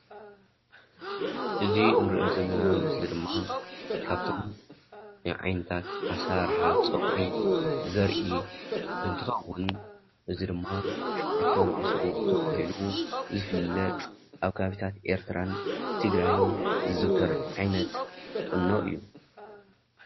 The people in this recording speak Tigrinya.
እዚ እንርእዮ ዘለና ምስሊ ድማ ካብቶም ናይ ዓይነታት ኣሰራርሓ ፀጉሪ ዘርኢ እንትከዉን እዚ ድማ ሸዉዓተ ኣልባሶ ተባሂሉ ዝፍለጥ ኣብ ከባቢታት ኤርትርን ትግራይን ዝዝዉተር ዓይነት ቁኖ እዩ፡፡